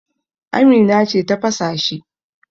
Amina ce ta fasa shi.